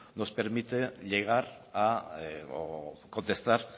nos permite llegar o contestar